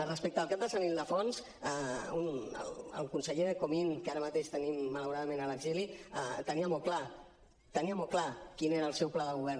respecte al cap de sant ildefons el conseller comín que ara mateix tenim malauradament a l’exili tenia molt clar tenia molt clar quin era el seu pla de govern